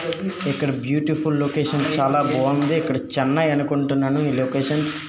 ఇక్కడ beautiful location చాలా బాగుంది ఇక్కడ చెన్నై అనుకుంటున్నాను ఈ లొకేషన్ .